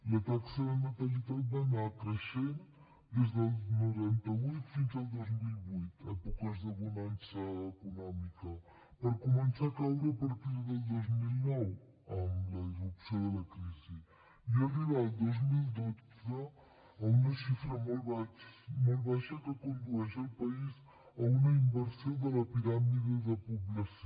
la taxa de natalitat va anar creixent des del noranta vuit fins al dos mil vuit èpoques de bonança econòmica per començar a caure a partir del dos mil nou amb la irrupció de la crisi i arribar el dos mil dotze a una xifra molt baixa que condueix el país a una inversió de la piràmide de població